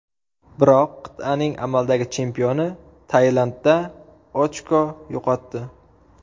Biroq qit’aning amaldagi chempioni Tailandda ochko yo‘qotdi.